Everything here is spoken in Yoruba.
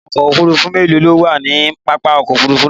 Àwọn ọkò òfúrùfú mélòó ló wà ní pápá òkò òfúrùfú náà?